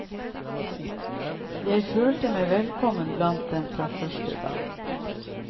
Jeg følte meg velkommen blant dem fra første dag.